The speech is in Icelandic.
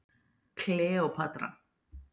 Kleópatra